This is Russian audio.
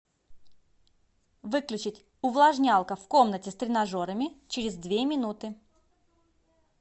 выключить увлажнялка в комнате с тренажерами через две минуты